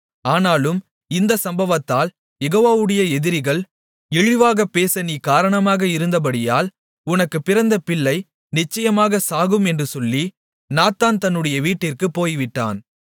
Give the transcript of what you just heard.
ஆனாலும் இந்த சம்பவத்தால் யெகோவாவுடைய எதிரிகள் இழிவாகப் பேச நீ காரணமாக இருந்தபடியால் உனக்குப் பிறந்த பிள்ளை நிச்சயமாக சாகும் என்று சொல்லி நாத்தான் தன்னுடைய வீட்டிற்குப் போய்விட்டான்